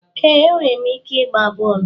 Ee, enwere m ike ịgba bọọlụ.